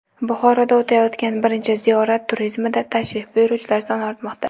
Buxoroda o‘tayotgan birinchi ziyorat turizmida tashrif buyuruvchilar soni ortmoqda.